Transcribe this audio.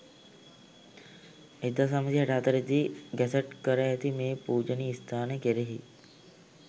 1964 දී ගැසට් කර ඇති මේ පූජනීය ස්ථානය කෙරෙහි